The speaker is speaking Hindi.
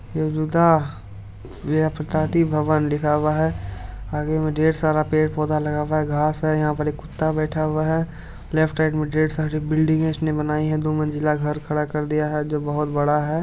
यह पे ददी भवन लिखा हुआ हैं आगे में ढेर सारा पेड़ पौधा लगा हुआ हैं घास हैं यहां पर एक कुत्ता बैठा हुआ हैं लेफ्ट साइड में ढेर सारी बिल्डिंग इसने बनाई हैं दो मंजिला घर खड़ा कर दिया हैं जो बहुत बड़ा हैं।